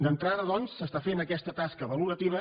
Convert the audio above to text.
d’entrada doncs s’està fent aquesta tasca valorativa